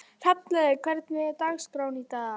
Hrafnlaug, hvernig er dagskráin í dag?